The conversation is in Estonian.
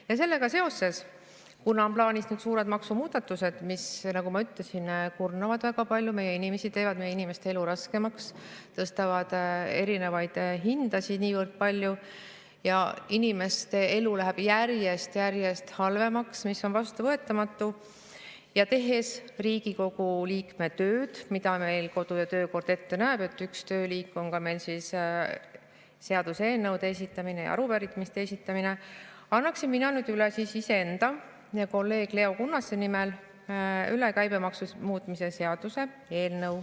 Ja sellega seoses, kuna on plaanis need suured maksumuudatused, mis, nagu ma ütlesin, kurnavad väga palju meie inimesi, teevad meie inimeste elu raskemaks, tõstavad erinevaid hindasid niivõrd palju, inimeste elu läheb järjest-järjest halvemaks, mis on vastuvõetamatu, ning tehes Riigikogu liikme tööd, mida meile kodu‑ ja töökord ette näeb – üks tööliik on meil seaduseelnõude esitamine ja arupärimiste esitamine –, annaksin mina nüüd iseenda ja kolleeg Leo Kunnase nimel üle käibemaksu muutmise seaduse eelnõu.